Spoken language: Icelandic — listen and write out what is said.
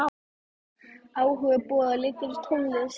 Áhugi Boga liggur í tónlist.